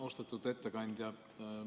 Austatud ettekandja!